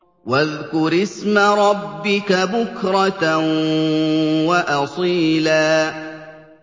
وَاذْكُرِ اسْمَ رَبِّكَ بُكْرَةً وَأَصِيلًا